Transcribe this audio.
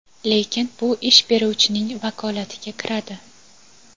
lekin bu ish beruvchining vakolatiga kiradi.